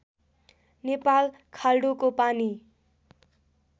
नेपाल खाल्डोको पानी